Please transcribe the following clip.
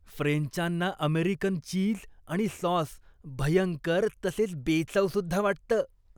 फ्रेंचांना American cheese आणि sauce भयंकर तसेच बेचवसुद्धा वाटतं.